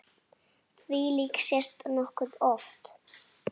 Þvílíkt sést nokkuð oft.